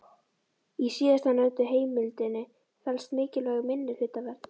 Í síðastnefndu heimildinni felst mikilvæg minnihlutavernd.